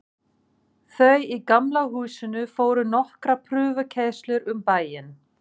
Þau í Gamla húsinu fóru nokkrar prufukeyrslur um bæinn.